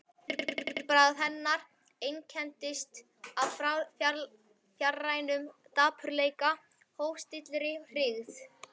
Yfirbragð hennar einkenndist af fjarrænum dapurleika, hófstilltri hryggð.